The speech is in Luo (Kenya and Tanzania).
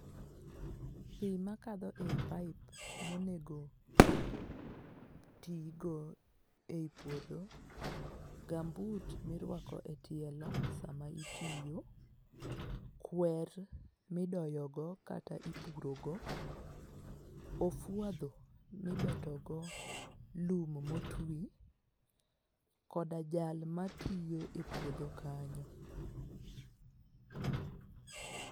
Pii makadho ei pipe monego ti go ei puodho, gambut mirwako e tielo sama itiyo, kwer midoyogo kata ipurogo, ofwadho mobetogo lum motwi, koda jal matiyo e pudho kanyo